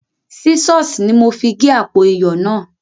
Sísọ̀s ni mo fi gé àpò iyọ̀ náà